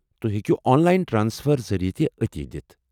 تُہۍ ہیٚکو online transfer ذریعہ تہِ عطیہ دِتھ